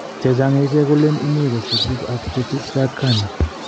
chechang en ichek kolelen imue kosipik ap netuptcho ak kani